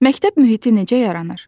Məktəb mühiti necə yaranır?